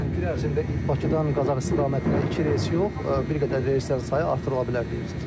Yəni bir ərzində Bakıdan Qazax istiqamətinə iki reys yox, bir qədər reyslərin sayı artırıla bilər deyirsiniz.